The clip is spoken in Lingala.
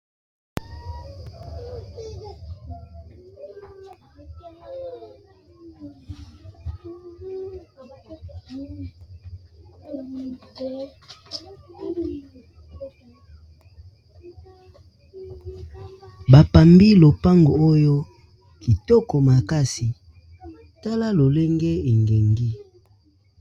Bapambi lopango oyo kitoko makasi tala lolenge engengi.